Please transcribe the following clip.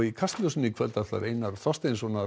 í Kastljósi í kvöld ræðir Einar Þorsteinsson